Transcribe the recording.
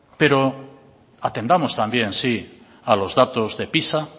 pero atendamos también sí a los datos de pisa